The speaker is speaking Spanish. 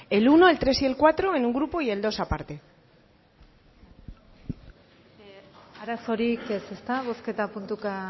el uno tres y cuatro en un grupo y el dos aparte arazorik ez ezta bozketa puntuka